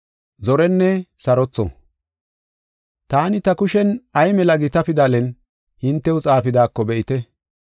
Taani ta kushen, ay mela gita pidalen hintew xaafidaako be7ite.